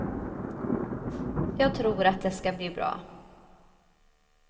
Jag tror att det ska bli bra.